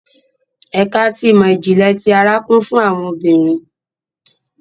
Ẹka ti imọ-jinlẹ ti àrà kún fún awọn obìnrin